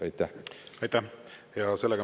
Aitäh!